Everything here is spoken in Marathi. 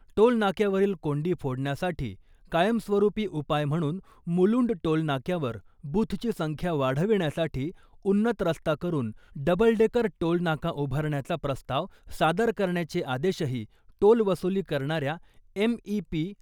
टोलनाक्यावरील कोंडी फोडण्यासाठी कायमस्वरुपी उपाय म्हणून मुलुंड टोलनाक्यावर बुथची संख्या वाढविण्यासाठी उन्नत रस्ता करुन डबलडेकर टोल नाका उभारण्याचा प्रस्ताव सादर करण्याचे आदेशही टोल वसुली करणाऱ्या एम.ई.पी.